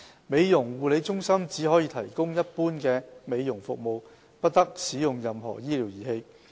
美容護理中心只可提供一般美容服務，不得使用任何醫療儀器。